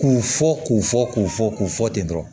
K'u fɔ k'u fɔ k'u fɔ k'u fɔ ten dɔrɔn